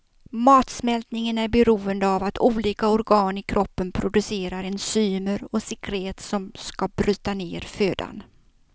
Matsmältningen är beroende av att olika organ i kroppen producerar enzymer och sekret som ska bryta ner födan.